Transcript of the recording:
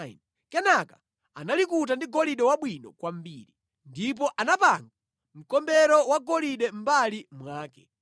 Kenaka analikuta ndi golide wabwino kwambiri, ndipo anapanga mkombero wagolide mʼmbali mwake.